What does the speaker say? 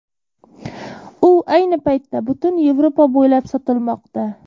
U ayni paytda butun Yevropa bo‘ylab sotilmoqda.